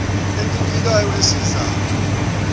fiber encibilikayo esiza